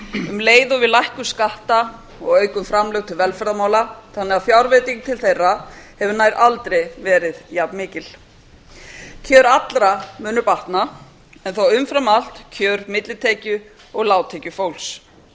um leið og við lækkum skatta og aukum framlög til velferðarmála þannig að fjárveiting til þeirra hefur nær aldrei verið jafnmikil kjör allra munu batna en þó umfram allt kjör millitekju og lágtekjufólks